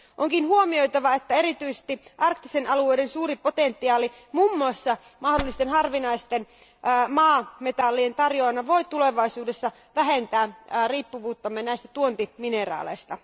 Onkin huomioitava, että erityisesti arktisten alueiden suuri potentiaali muun muassa mahdollisten harvinaisten maametallien tarjoajana voi tulevaisuudessa vähentää riippuvuuttamme tuontimineraaleista.